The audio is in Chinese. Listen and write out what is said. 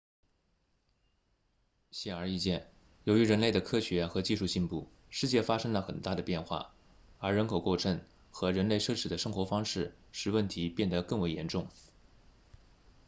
显而易见由于人类的科学和技术进步世界发生了很大的变化而人口过剩和人类奢侈的生活方式使问题变得更为严重